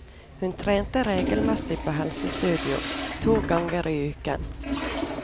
Hun trente regelmessig på helsestudio, to ganger i uken.